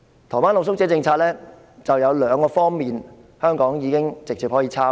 台灣的露宿者政策有兩方面，香港可以直接複製。